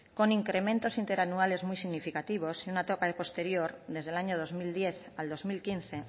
con incrementos interanuales muy significativos y una etapa posterior desde el año dos mil diez al dos mil quince